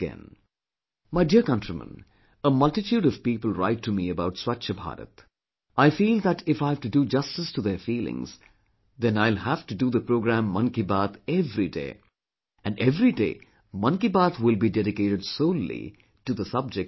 My dear countrymen, a multitude of people write to me about 'Swachch Bharat', I feel that if I have to do justice to their feelings then I will have to do the program 'Mann Ki Baat' every day and every day 'Mann Ki Baat' will be dedicated solely to the subject of cleanliness